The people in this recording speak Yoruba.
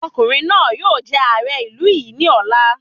Ọkùnrin náà yóò jẹ ààrẹ ìlú yìí ní ọ̀la